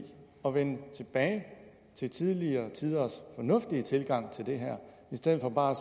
at vende tilbage til tidligere tiders fornuftige tilgang til det her i stedet for bare